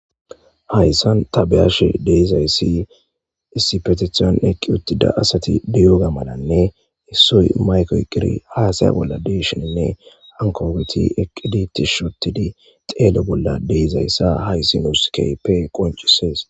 hayssan tabeyashe deezayssi issipetethiyon eqqi uttida asati diyoga malanne issoy mayko qiri haasaya bolla deshoninne hankooweti eqqiditi shotidi xeele bolla deizayssa haysi nuuskeepe qoncisees